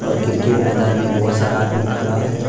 Cricket मैदान में बहुत सारा आदमी खड़ा है।